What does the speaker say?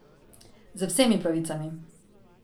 Z vsemi pravicami!